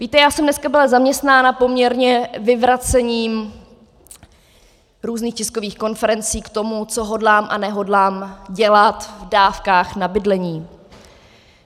Víte, já jsem dneska byla zaměstnána poměrně vyvracením různých tiskových konferencí k tomu, co hodlám a nehodlám dělat v dávkách na bydlení.